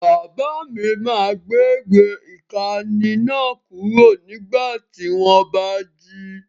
Bàbá mi máa gbé gbé ìkànnì náà kúrò nígbà tí wọ́n bá jí.